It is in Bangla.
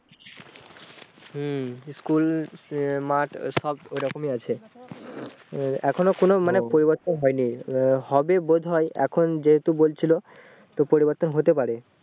হম school ই মাঠ সব ঐরকমই আছে এখনো কোনো মানে পরিবর্তন ও হয়নি আহ হবে বোধয় এখন যেহুতু বলছিলো তো পরিবর্তন হতে পারে